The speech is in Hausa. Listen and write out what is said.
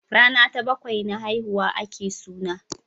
Rana ta bakwai na haihuwa a ke suna